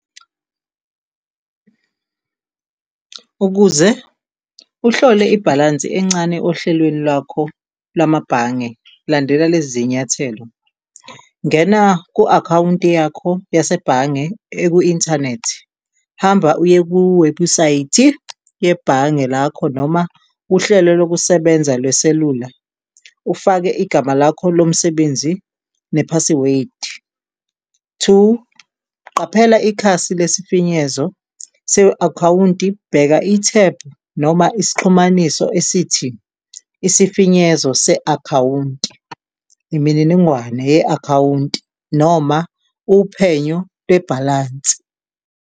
Ukuze uhlole ibhalansi encane ohlwelweni lwakho lamabhange, landela lezi zinyathelo ngena ku-akhawunti yakho yasebhange eku inthanethi, hamba uye ku-webhusayithi yebhange lakho noma uhlelo lokusebenza lweselula ufake igama lakho lomsebenzi ne-password. Two, qaphela ikhasi lesifinyezo se-akhawunti. Bheka, ithebhu noma isixhumaniso esithi isifinyezo se-akhawunti, imininingwane ye-akhawunti noma uphenyo lebhalansi.